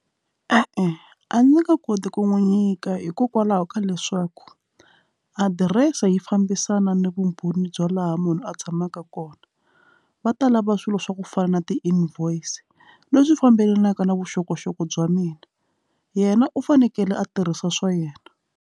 E-e, a ndzi nge koti ku n'wi nyika hikokwalaho ka leswaku adirese yi fambisana ni vumbhoni bya laha munhu a tshamaka kona va ta lava swilo swa ku fana na ti-invoice leswi fambelanaka na vuxokoxoko bya mina yena u fanekele a tirhisa swa yena.